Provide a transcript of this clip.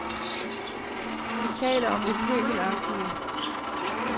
Vi taler om det pøbelagtige.